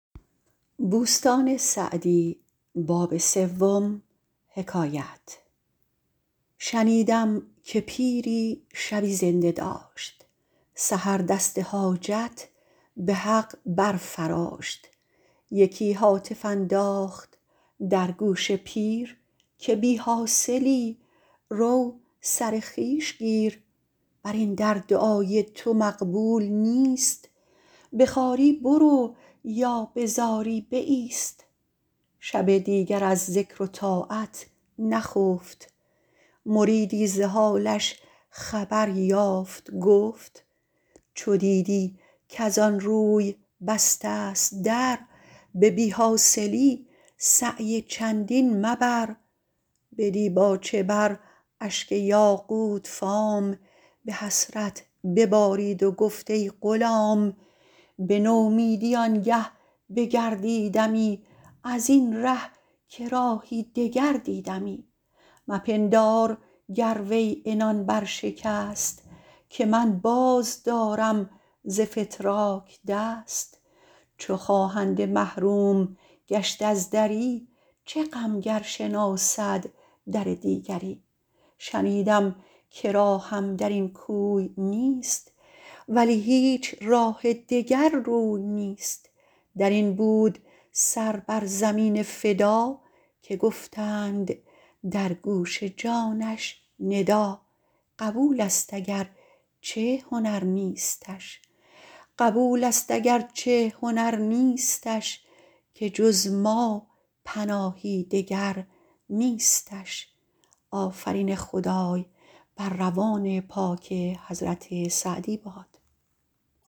شنیدم که پیری شبی زنده داشت سحر دست حاجت به حق بر فراشت یکی هاتف انداخت در گوش پیر که بی حاصلی رو سر خویش گیر بر این در دعای تو مقبول نیست به خواری برو یا به زاری بایست شب دیگر از ذکر و طاعت نخفت مریدی ز حالش خبر یافت گفت چو دیدی کز آن روی بسته ست در به بی حاصلی سعی چندین مبر به دیباچه بر اشک یاقوت فام به حسرت ببارید و گفت ای غلام به نومیدی آنگه بگردیدمی از این ره که راهی دگر دیدمی مپندار گر وی عنان بر شکست که من باز دارم ز فتراک دست چو خواهنده محروم گشت از دری چه غم گر شناسد در دیگری شنیدم که راهم در این کوی نیست ولی هیچ راه دگر روی نیست در این بود سر بر زمین فدا که گفتند در گوش جانش ندا قبول است اگر چه هنر نیستش که جز ما پناهی دگر نیستش